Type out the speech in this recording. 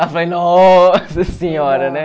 Aí eu falei, nossa senhora, né?